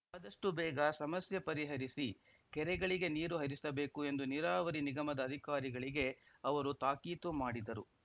ಆದಷ್ಟುಬೇಗ ಸಮಸ್ಯೆ ಪರಿಹರಿಸಿ ಕೆರಗಳಿಗೆ ನೀರು ಹರಿಸಬೇಕು ಎಂದು ನೀರಾವರಿ ನಿಗಮದ ಅಧಿಕಾರಿಗಳಿಗೆ ಅವರು ತಾಕೀತು ಮಾಡಿದರು